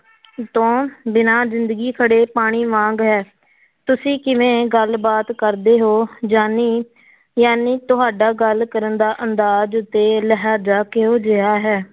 ਤੋਂ ਬਿਨਾਂ ਜ਼ਿੰਦਗੀ ਖੜੇ ਪਾਣੀ ਵਾਂਗ ਹੈ ਤੁਸੀਂ ਕਿਵੇਂ ਗੱਲਬਾਤ ਕਰਦੇ ਹੋ ਜਾਣੀ ਜਾਣੀ ਤੁਹਾਡਾ ਗੱਲ ਕਰਨ ਦਾ ਅੰਦਾਜ਼ ਤੇ ਲਹਿਜ਼ਾ ਕਿਹੋ ਜਿਹਾ ਹੈ?